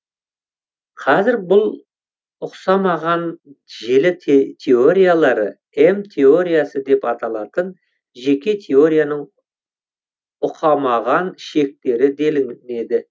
қазір бұл ұқсамаған желі теориялары м теориясы деп аталатын жеке теорияның ұқамаған шектері делінеді